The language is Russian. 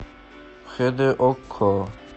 хд окко